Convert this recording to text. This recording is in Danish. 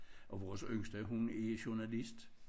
Og vores yngste hun er journalist